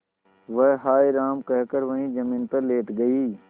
वह हाय राम कहकर वहीं जमीन पर लेट गई